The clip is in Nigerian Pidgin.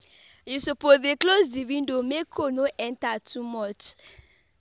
You suppose dey close di window, make cold no enter too much.